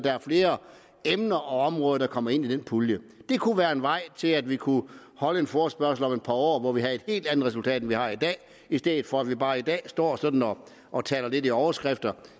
er flere emner og områder der kommer ind i den pulje det kunne være en vej til at vi kunne holde en forespørgsel om et par år hvor vi havde et helt andet resultat end vi har i dag i stedet for at vi bare i dag står sådan og taler lidt i overskrifter